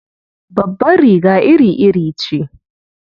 Babbar riga iri-iri ce.